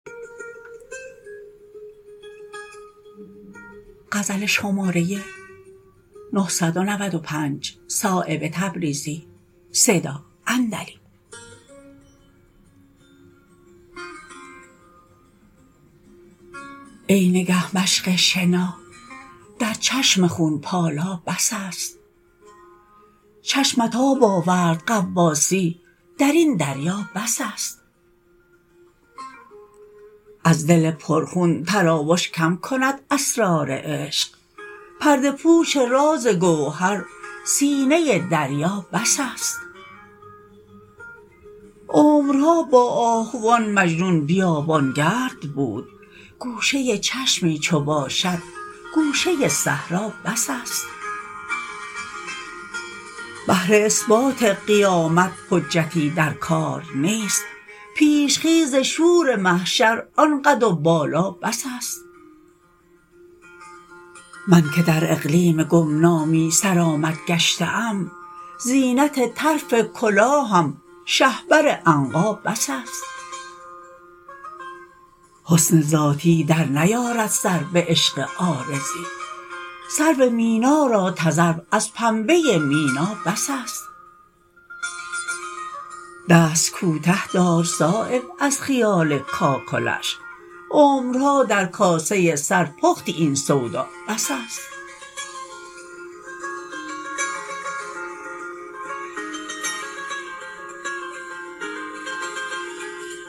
ای نگه مشق شنا در چشم خونپالا بس است چشمت آب آورد غواصی درین دریا بس است از دل پر خون تراوش کم کند اسرار عشق پرده پوش راز گوهر سینه دریا بس است عمرها با آهوان مجنون بیابانگرد بود گوشه چشمی چو باشد گوشه صحرا بس است بهر اثبات قیامت حجتی در کار نیست پیش خیز شور محشر آن قد و بالا بس است من که در اقلیم گمنامی سرآمد گشته ام زینت طرف کلاهم شهپر عنقا بس است حسن ذاتی در نیارد سر به عشق عارضی سرو مینا را تذرو از پنبه مینا بس است دست کوته دار صایب از خیال کاکلش عمرها در کاسه سر پختی این سودا بس است